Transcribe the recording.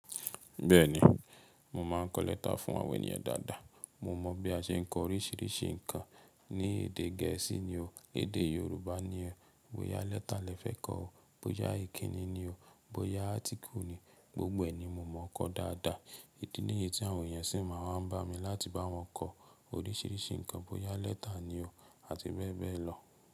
Bẹ́ẹ̀ni, mo máa ń kọ lẹ́tà fún àwọn ènìyàn dáadáa. Mo mọ bí a ṣe ń kọ oríṣiríṣi nǹkan. Ní èdè gẹ̀ẹ́sì ni o, èdè Yorùbá ni o, bóyá letter lẹ fẹ́ kọ o, bóyá ìkíni ni o, bóyá article ni, gbogbo ẹ ni mo mọ kọ dáadáa. Ìdí níyì tí àwọn ènìyàn sì máa ń bá mi láti bá wọn kọ oríṣiríṣi nǹkan. Bóyá letter ni o àti bẹ́ẹ̀ bẹ́ẹ̀ lọ.